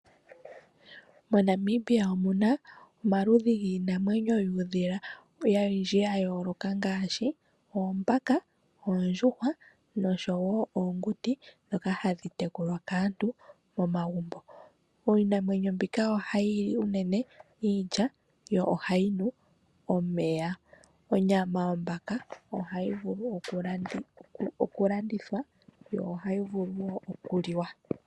MoNamibia omuna omaludhi giinamwenyo yuudhila owundji wa yooloka ngaashi Oombaka, Oondjuhwa nosho wo Oonguti dhoka hadhi tekulwa kaantu mo magumbo. Iinamwenyo mbika oha yili unene iilya, yo ohayi nu omeya. Onyama yOmbaka ohayi vulu oku landithwa yo ohayi vulu woo oku liwa.